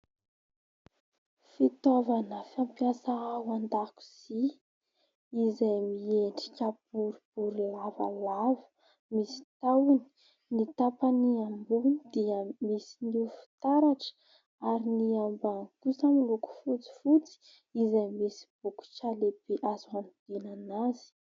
Fitaovana fampiasa ao an-dakozia izay miendrika boribory, lavalava misy tahony. Ny tapany ambony dia misy ny fitaratra ary ny ambany kosa miloko fotsifotsy izay misy bokotra lehibe azo hanodinana azy.